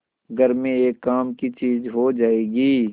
घर में एक काम की चीज हो जाएगी